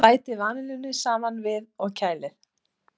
Bætið vanillunni saman við og kælið.